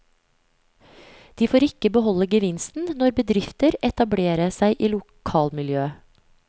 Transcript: De får ikke beholde gevinsten når bedrifter etablere seg i lokalmiljøet.